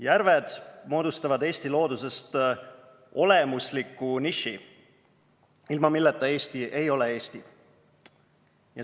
Järved moodustavad Eesti looduses olemusliku niši, ilma milleta Eesti ei ole Eesti.